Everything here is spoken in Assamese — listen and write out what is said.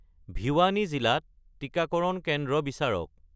ভিৱানী জিলাত টিকাকৰণ কেন্দ্ৰ বিচাৰক